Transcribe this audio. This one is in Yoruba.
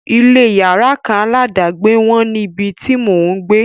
Ilé yàrá kan aládàgbé wọ́n níbi tí mò ń gbé.